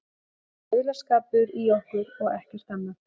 Þetta er aulaskapur í okkur og ekkert annað.